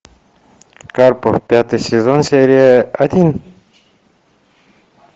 карпов пятый сезон серия один